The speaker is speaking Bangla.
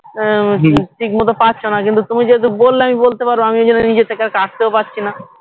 আহ উম ঠিক মতো পারছোনা কিন্তু তুমি যেহেতু বললে আমি বলতে পারবো আমি ঐজন্য নিজে থেকে আর কাটতেও পারছিনা